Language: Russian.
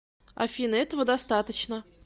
афина этого достаточно